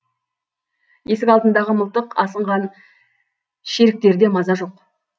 есік алдындағы мылтық асынған шеріктерде маза жоқ